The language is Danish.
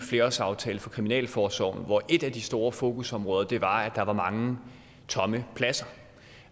flerårsaftale for kriminalforsorgen hvor et af de store fokusområder var at der var mange tomme pladser